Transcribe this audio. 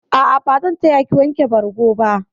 A'a, bazan taya ki wanke bargo ba.